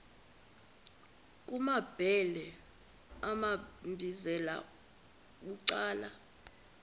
kumambhele wambizela bucala